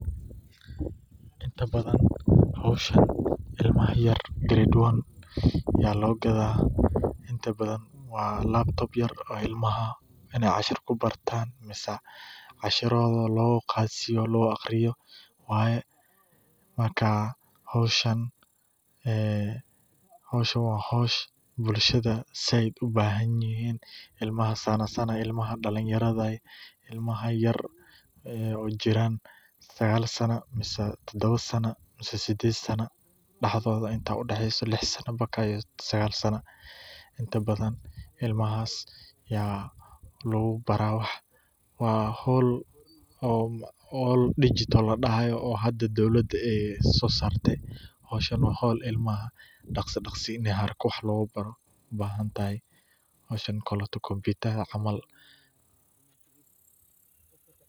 Inta badan howshan ilmaha yar ayaa loo gadaa, ilmaha ayaa cashir kubartaan, howshan waa howl bulshada sait ugu bahan yihiin, ilmaha yar oo jira lix ila sagaal Sano, waa howl hada dowlada soo sarte, ilmaha daqsi in wax lagu baro loogu tala gale.